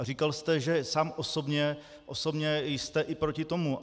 A říkal jste, že sám osobně jste i proti tomu.